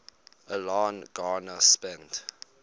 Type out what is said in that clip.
alan garner spent